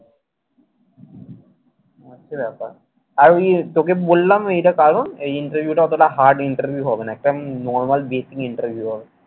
এই হচ্ছে ব্যাপার। আর ওই তোকে বললাম না এটার কারণ এই interview টা অতটা hard interview হবে না। একদম normal basic interview হবে